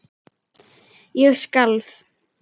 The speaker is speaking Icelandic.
Ég skalf.